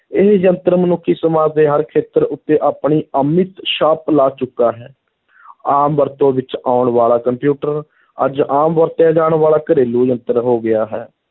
ਇਹ ਯੰਤਰ ਮਨੁੱਖੀ ਸਮਾਜ ਦੇ ਹਰ ਖੇਤਰ ਉੱਤੇ ਆਪਣੀ ਅਮਿਟ ਛਾਪ ਲਾ ਚੁੱਕਾ ਹੈ ਆਮ ਵਰਤੋਂ ਵਿੱਚ ਆਉਣ ਵਾਲਾ ਕੰਪਿਊਟਰ ਅੱਜ ਆਮ ਵਰਤਿਆ ਜਾਣ ਵਾਲਾ ਘਰੇਲੂ ਯੰਤਰ ਹੋ ਗਿਆ ਹੈ,